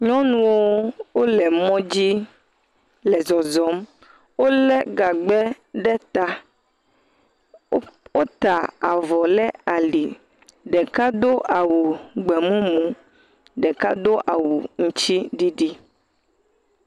Nyɔnuwo wole mɔ dzi le zɔzɔm. Wole gagbe ɖe ta. Woƒ wota avɔ le ali. Ɖeka do awu gbemumu. Ɖeka do awu ŋtsiɖiɖi.